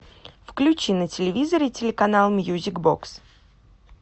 включи на телевизоре телеканал мьюзик бокс